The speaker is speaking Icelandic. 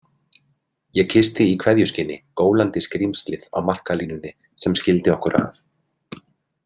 Ég kyssti í kveðjuskyni gólandi skrímslið á markalínunni sem skildi okkur að.